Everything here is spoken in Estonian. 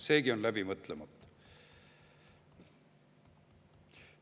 Seegi on läbi mõtlemata.